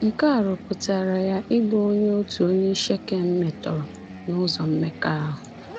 Nke a rụpụtara ya ịbụ onye otu onye Shekem metọrọ n’ụzọ mmekọahụ.